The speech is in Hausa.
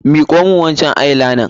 Miƙo min wancan eye liner!